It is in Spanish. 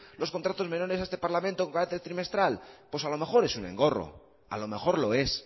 los contratos menores a este parlamento con carácter trimestral pues a lo mejor es un engorro a lo mejor lo es